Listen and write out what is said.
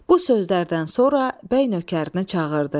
Bu sözlərdən sonra bəy nökərinə çağırdı.